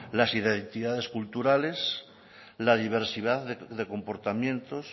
las identidades culturales la diversidad de comportamientos